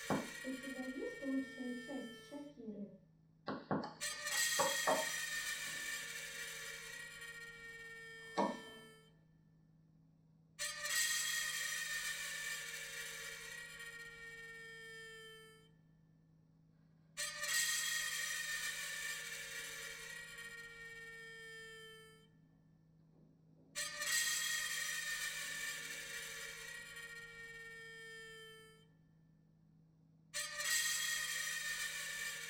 у тебя есть лучшая часть шакиры